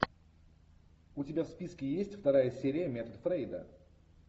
у тебя в списке есть вторая серия метод фрейда